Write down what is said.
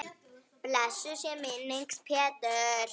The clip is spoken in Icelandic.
Blessuð sé minning Péturs.